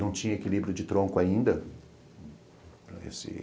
não tinha equilíbrio de tronco ainda.